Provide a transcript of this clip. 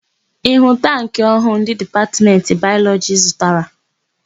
Ị hụrụ tankị ọhụụ ndị Dipatmentị Bayọlọjị zụtara?